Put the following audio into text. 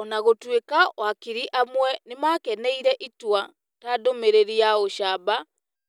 Ona gũtuĩka wakiri amwe nĩ makeneire itua ta ndũmĩrĩri ya ũcamba